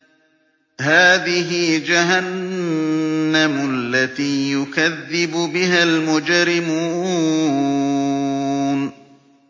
هَٰذِهِ جَهَنَّمُ الَّتِي يُكَذِّبُ بِهَا الْمُجْرِمُونَ